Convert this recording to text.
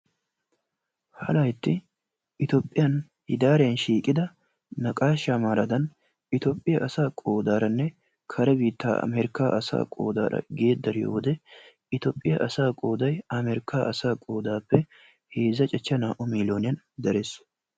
ha laytti itoophiyan hidaariyan shiiqida naqaashsha maaradan itoophiyaa asaa qodaaranne kare biitta asaa americaa asaa qoodara gedariiyoo wode itoophiyaa asaa qoday amerikka asaa qoodappe heezza cachcha naa''u millooniyaan darees.